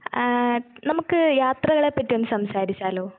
അഹ് നമ്മക്ക് യാത്രകളെപ്പറ്റിയൊന്ന് സംസാരിച്ചാലോ ?